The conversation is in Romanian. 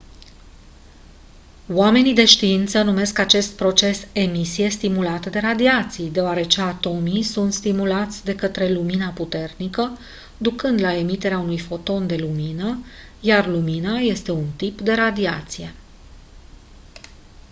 oamenii de știință numesc acest proces «emisie stimulată de radiații» deoarece atomii sunt stimulați de către lumina puternică ducând la emiterea unui foton de lumină iar lumina este un tip de radiație.